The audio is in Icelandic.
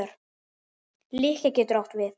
Lykkja getur átt við